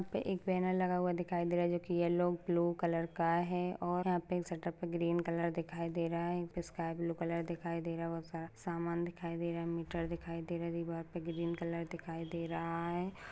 एक बैनर लगा हुआ दिखाई दे रहा है जो कि येल्लो ब्लू कलर का है और यहाँ पर एक शटर पे ग्रीन कलर दिखाई दे रह है स्काई ब्लू कलर दिखाई दे रहा वे बहुत सारा सामान दिखाई दे रहा है मीटर दिखाई दे रहा है दीवार पे ग्रीन कलर दिखाई दे रहा है।